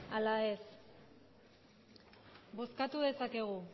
ala ez bozkatu dezakegu